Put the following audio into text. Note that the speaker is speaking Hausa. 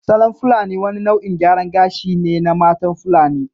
Salon fulani wani nau’in gyaran gashi ne na matan fulani